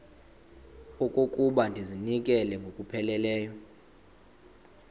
okokuba ndizinikele ngokupheleleyo